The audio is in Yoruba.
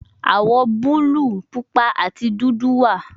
Awọ buluu, pupa ati dudu wa